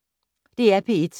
DR P1